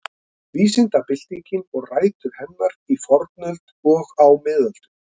Vísindabyltingin og rætur hennar í fornöld og á miðöldum.